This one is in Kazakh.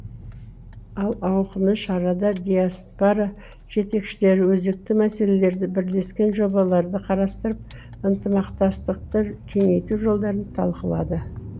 ал ауқымды шарада диаспора жетекшілері өзекті мәселелерді бірлескен жобаларды қарастырып ынтымақтастықты кеңейту жолдарын талқылады